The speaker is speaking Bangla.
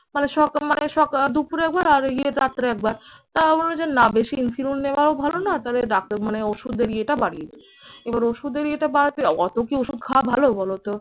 মানে সকা মানে সকাল দুপুরে একবার আর ইয়ে রাত্রে একবার। তা বললো যে না বেশি insulin নেওয়াও ভালো না তবে ডাক্তার মানে ওষুধের ইয়েটা বাড়িয়ে দিল। এবার ওষুধের ইয়েটা বাড়াতে অত কি ওষুধ খাওয়া ভালো বলো তো?